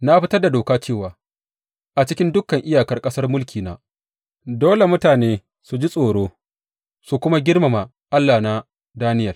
Na fitar da doka cewa a cikin dukan iyakar ƙasar mulkina, dole mutane su ji tsoro su kuma girmama Allah na Daniyel.